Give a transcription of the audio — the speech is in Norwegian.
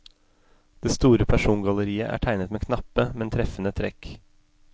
Det store persongalleriet er tegnet med knappe, men treffende trekk.